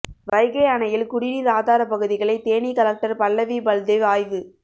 வைகை அணையில் குடிநீர் ஆதாரப் பகுதிகளை தேனி கலெக்டர் பல்லவி பல்தேவ் ஆய்வு